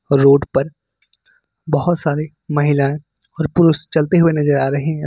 Road पर बहुत सारी महिलाएं और पुरुष चलते हुए नजर आ रहे हैं।